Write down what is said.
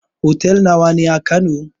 Hotel nawa ne a kano?